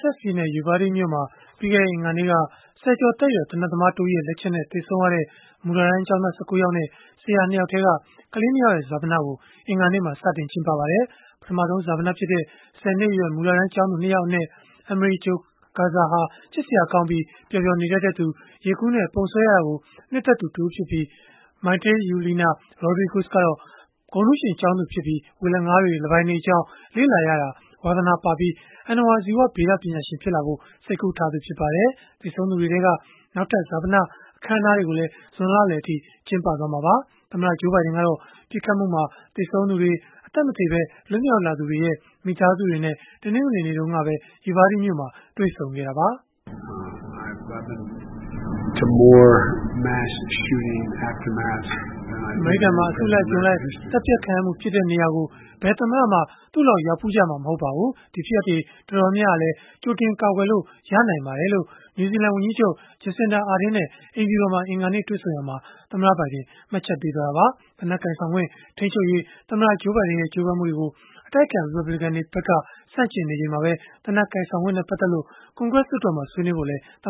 ဆက်ပြည်နယ် Uvalde မြို့မှာ ပြီးခဲ့တဲ့ အင်္ဂါနေ့က ဆယ်ကျော်သက်ရွယ် သေနတ်သမားတဦးရဲ့ လက်ချက်နဲ့ သေဆုံးခဲ့ရတဲ့ မူလတန်းကျောင်းသား ၁၉ ယောက်နဲ့ ဆရာ ၂ ယောက်ထဲက ကလေး ၂ ယောက်ရဲ့ ဈာပနကို အင်္ဂါနေ့မှာ စတင်ကျင်းပပါတယ်။ ပထမဆုံး ဈာပနဖြစ်တဲ့ ၁၀ နှစ်အရွယ် မူလတန်းကျောင်းသူ ၂ ယောက်အနက် Amerie Jo Garza ဟာ ချစ်စရာကောင်းပြီး ပျော်ပျော်နေတတ်သူ၊ ရေကူးနဲ့ ပုံဆွဲရတာကို နှစ်သက်သူဖြစ်ပြီး၊ Maite Yuleana Rodriguez ကတော့ ဂုဏ်ထူးရှင်ကျောင်းသူဖြစ်ပြီး ဝေလငါးတွေ၊ လင်းပိုင်တွေအကြောင်း လေ့လာရတာ ဝါသနာပါပြီး အဏ္ဏဝါဇီဝဗေဒ ပညာရှင်ဖြစ်လာဖို့ စိတ်ကူးထားသူ ဖြစ်ပါတယ်။ သေဆုံးသူတွေထဲက နောက်ထပ် ဈာပန အခမ်းအနားတွေကိုလည်း ဇွန်လလယ်အထိ ကျင်းပသွားမှာပါ။ သမ္မတ Joe Biden ကတော့ ပစ်ခတ်မှုမှာ သေဆုံးသူတွေ၊ အသက်မသေ လွတ်မြောက်လာသူတွေရဲ့ မိသားစုတွေနဲ့ တနင်္ဂနွေနေ့က Uvalde မြို့မှာ တွေ့ဆုံခဲ့တာပါ။ “အမေရိကန်မှာ အစုလိုက်အပြုံလိုက် သတ်ဖြတ်ခံရမှု ဖြစ်တဲ့နေရာကို ဘယ်သမ္မတမှ သူ့လောက် ရောက်ဖူးကြမှာ မဟုတ်ပါဘူး။ ဒီဖြစ်ရပ်တွေ တော်တော်များများဟာလည်း ကြိုတင်ကာကွယ်လို့ ရနိုင်ပါတယ်။” လို့ နယူးဇီလန်ဝန်ကြီးချုပ် Jacinda Ardern နဲ့ အိမ်ဖြူတော်မှာ အင်္ဂါနေ့ တွေ့ဆုံရာမှာ သမ္မတဘိုင်ဒင် ပြောဆိုခဲ့တာပါ။ သေနတ်ကိုင်ဆောင်ခွင့် ထိန်းချုပ်ရေး သမ္မတ Joe Biden ရဲ့ ကြိုးပမ်းမှုတွေကို အတိုက်အခံ ရီပတ်ဘလစ်ကန်တွေဖက်က ဆန့်ကျင်နေချိန်မှာပဲ သေနတ်ကိုင်ဆောင်ခွင့်နဲ့ ပတ်သက်လို့ ကွန်ဂရက်မှာ ဆွေးနွေးဖို့လည်း သမ